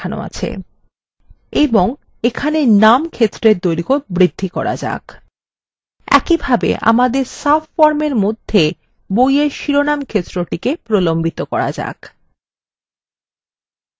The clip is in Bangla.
এবং এখানে নাম ক্ষেত্রের দৈর্ঘ্য বৃদ্ধি করা যাক